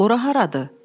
Ora haradır?